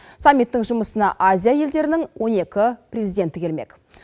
саммиттің жұмысына азия елдерінің он екі президенті келмек